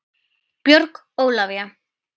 Björg Ólavía.